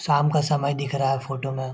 शाम का समय दिख रहा है फोटो में।